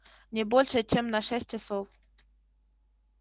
не больше чем на шесть часов